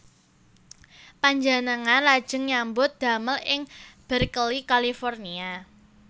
Panjenengan lajeng nyambut damel ing Berkeley California